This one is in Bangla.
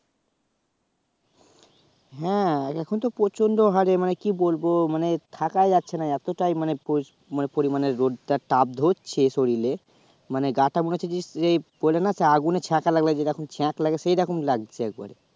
হ্যাঁ এখন তো হারে মানে কি বলবো মানে থাকা যাচ্ছে না এতো টাই পরিস~ মানে পরিমানে রোদ টা তাপ ধরছে শরীলে মানে গাঁ টা মনে হচ্ছে বললে না আগুনের ছ্যাকা লাগলে যেমন ছ্যাক লাগে সে রকম লাগছে একবারে